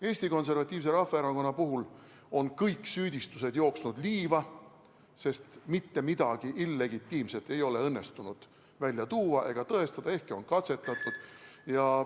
Eesti Konservatiivse Rahvaerakonna puhul on kõik süüdistused jooksnud liiva, sest mitte midagi illegitiimset ei ole õnnestunud välja tuua ega tõestada, ehkki on katsetatud.